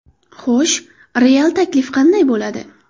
Xo‘sh, real taklif qanday bo‘ladi?